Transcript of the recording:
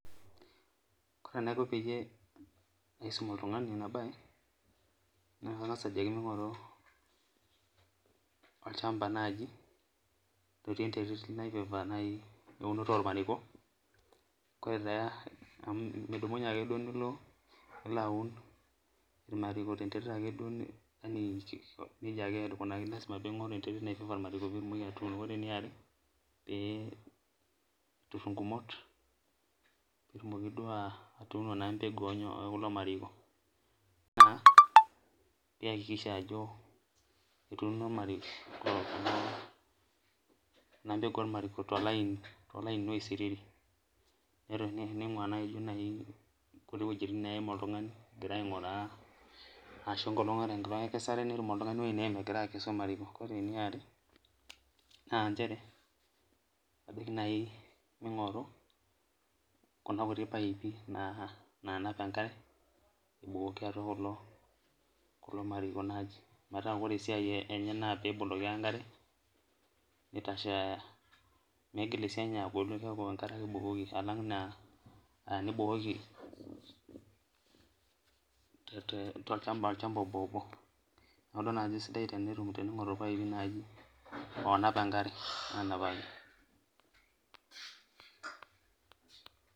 Kore enaiko peyie aisum oltungani enabae na kangasa ajoki mingoru olchamba nai otii enteritnai eunoto ormariko amu midumunye ake nilo aun irmariko tenterit ake amu impim enterit pitumoki atuuno irmariko ,ore eniare pe itur ingumot pitumoki na atuuno empeku ololomarikona kijakikisha ajo etuuno irmariko empeku ormariko tolainioisiriri nimgua nai nkiti lainini oim oltungani egira ainguraa ashu ore enkolong enkesare ningoru oltungani eneim egira aas enkesare ore eniare na nchere na kajoki nai mingoru kunakuti paipi nanap enkare abukoki atua kulo mariki meta ore esiai enye na peboloki ake enkare nitashe migil ninye aitashe neaku keboloki ake enkare nibukuko tolchamba obobo, neaku kesidai nai teningoru irpaipi onap enkare anapaki.